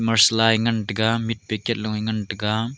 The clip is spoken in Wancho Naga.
masala e ngan taiga meat packet loe ngan taiga.